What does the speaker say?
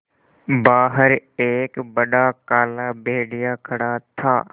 बाहर एक बड़ा काला भेड़िया खड़ा था